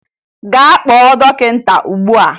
Gaa kpọọ dọkịta ugbua!